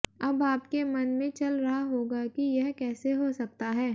अब आपके मन में चल रहा होगा की यह कैसे हो सकता है